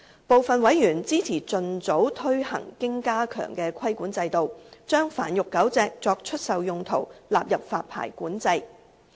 部分委員支持盡早推行經加強的規管制度，將繁育狗隻作出售用途納入發牌管制。